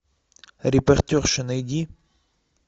репортерша найди